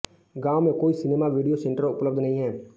गांव में कोई सिनेमा वीडियो सेंटर उपलब्ध नहीं है